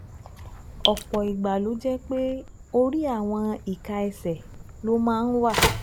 Ọ̀pọ̀ ìgbà ló jẹ́ pé orí àwọn ìka ẹsẹ̀ ló máa ń wà